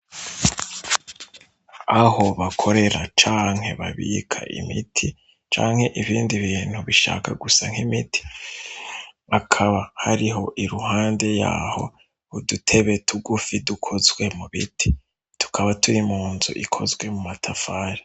Aho bakorera canke babika imiti canke ibindi bintu bishaka gusa nk'imiti akaba hariho iruhande yaho udutebe tugufi dukozwe mu biti tukaba turi munzu ikozwe mu matafari.